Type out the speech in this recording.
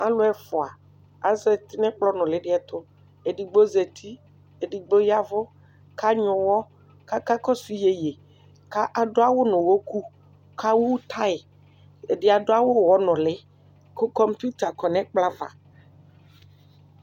Alʋ ɛfʋa azeti nʋ ɛkplɔ nʋlidi ɛtʋ edigbo zati edigbo ya ɛvʋ kʋ anyuɛ ʋwɔ kʋ ɔka kɔsʋ yeye kʋ adʋ awʋ nʋ ʋwɔkʋ kʋ ewʋ tayi ɛdi adʋ awʋ ɔnʋli kʋ kumputa kɔnʋ ɛkplɔ ava